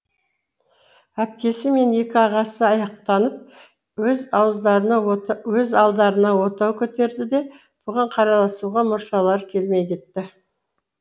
әпкесі мен екі ағасы аяқтанып өз алдарына отау көтерді де бұған қарайласуға мұршалары келмей кетті